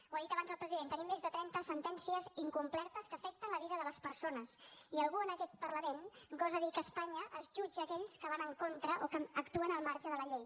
ho ha dit abans el president tenim més de trenta sentències incomplertes que afecten la vida de les persones i algú en aquest parlament gosa dir que a espanya es jutja aquells que van en contra o que actuen al marge de la llei